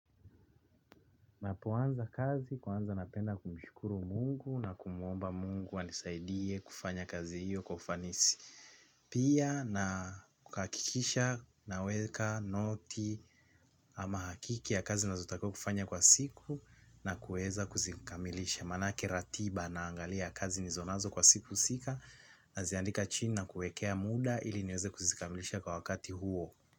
Ninapoanza kazi kwanza napenda kumshukuru Mungu na kumuomba Mungu anisaidie kufanya kazi hiyo kwa ufanisi. Pia na kuhakikisha naweka noti ama hakiki ya kazi ninazotaka kufanya kwa siku na kuweza kuzikamilisha manake ratiba naangalia kazi nilizonazo kwa siku husika naziandika chini na kuekea muda ili niweze kuzikamilisha kwa wakati huo.